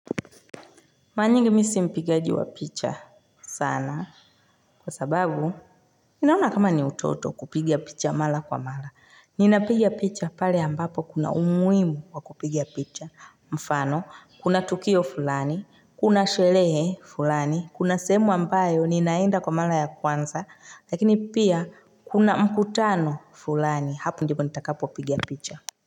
Mara nyingi mimi si mpigaji wa picha sana kwa sababu, ninaona kama ni utoto kupigia picha mala kwa mala. Ninapigia picha pale ambapo kuna umuhimu wa kupigia picha. Mfano, kuna tukio fulani, kuna sherehe fulani, kuna sehemu ambayo ninaenda kwa mara ya kwanza, lakini pia kuna mkutano fulani hapo ndipo nitakapopiga picha.